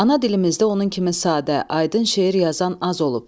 Ana dilimizdə onun kimi sadə, aydın şeir yazan az olub.